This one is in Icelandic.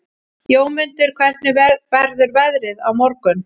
Jómundur, hvernig verður veðrið á morgun?